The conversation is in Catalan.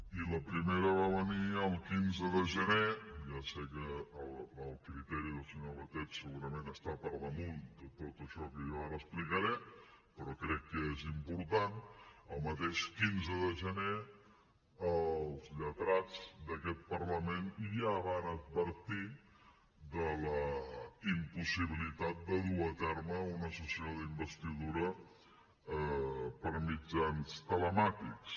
i la primera va venir el quinze de gener ja sé que el criteri del senyor batet segurament està per damunt de tot això que jo ara explicaré però crec que és important el mateix quinze de gener els lletrats d’aquest parlament ja van advertir de la impossibilitat de dur a terme una sessió d’investidura per mitjans telemàtics